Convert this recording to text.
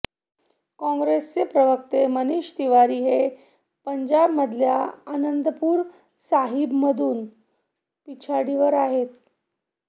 काँग्रेसचे प्रवक्ते मनिष तिवारी हे पंजाबमधल्या आनंदपूर साहिबमधून पिछाडीवर आहे